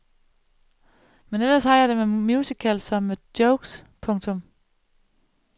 Men ellers har jeg det med musicals som med jokes. punktum